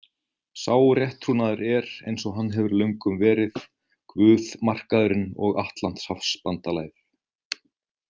Sá rétttrúnaður er, eins og hann hefur löngum verið, Guð, Markaðurinn og Atlantshafsbandalagið.